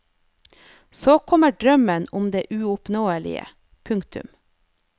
Så kommer drømmen om det uoppnåelige. punktum